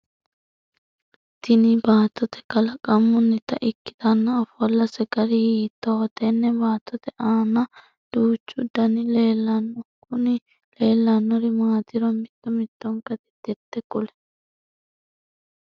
Tinni baattote kalaqamunnita ikitanna ofolase gari hiittooho? Tenne baattote aanna duuchu Danni leelanona kunni leelanori maatiro mitto mittonka titirte kuli?